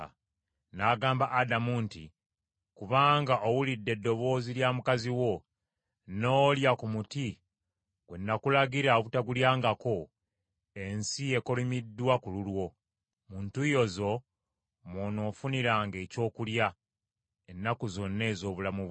N’agamba Adamu nti, “Kubanga owulidde eddoboozi lya mukazi wo, n’olya ku muti gwe nakulagira obutagulyangako, “ensi ekolimiddwa ku lulwo; mu ntuuyo zo mw’onoofuniranga ekyokulya ennaku zonna ez’obulamu bwo.